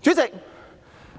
主席，